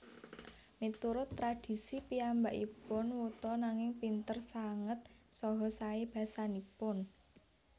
Miturut tradhisi piyambakipun wuta nanging pinter sanget saha saé basanipun